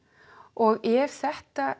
og ef þetta